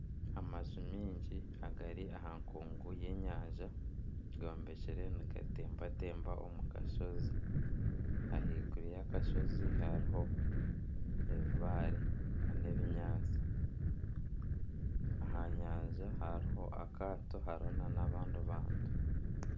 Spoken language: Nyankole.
Amaju mingi agari aha nkungu y'enyanja gombekire nigatembatemba omu kashozi ahaiguru y'akashozi hariho ebibaare na n'ebinyaatsi aha nyanja hariho akaato hariho na n'abandi bantu.